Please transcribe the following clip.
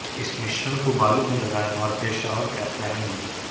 इस मिश्रण को बालों में लगाएं और फिर शावर कैप पहन लें